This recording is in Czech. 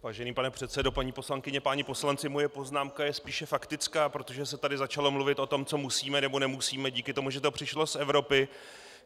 Vážený pane předsedo, paní poslankyně, páni poslanci, moje poznámka je spíše faktická, protože se tady začalo mluvit o tom, co musíme, nebo nemusíme díky tomu, že to přišlo z Evropy.